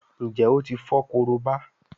Njé o tí fo Korobá?